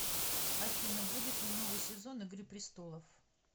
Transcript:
афина будет ли новый сезон игры престолов